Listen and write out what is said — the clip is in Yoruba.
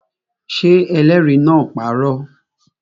Ṣé ẹlẹ́rìí náà parọ́?